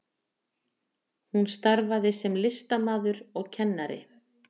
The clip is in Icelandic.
Hún starfaði sem listamaður og kennari